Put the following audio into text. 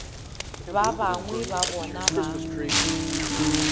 ba bangwe ba bona ba